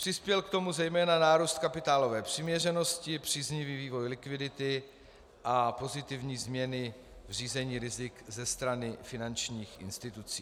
Přispěl k tomu zejména nárůst kapitálové přiměřenosti, příznivý vývoj likvidity a pozitivní změny v řízení rizik ze strany finančních institucí.